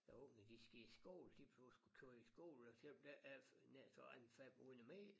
Æ unger de skal i skole de bliver sgu kørt i skole og selvom der ikke er nær sagt mere en 500 meter